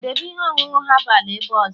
debe ihe ọṅụṅụ herbal ebe ọzọ!